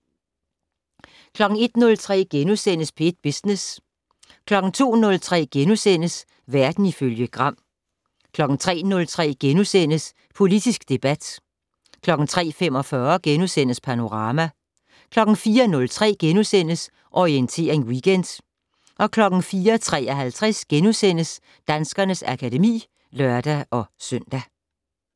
01:03: P1 Business * 02:03: Verden ifølge Gram * 03:03: Politisk debat * 03:45: Panorama * 04:03: Orientering Weekend * 04:53: Danskernes akademi *(lør-søn)